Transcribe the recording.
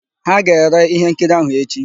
Ha ga-ere íhénkiri áhụ̀ echi.